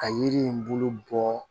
Ka yiri in bolo bɔ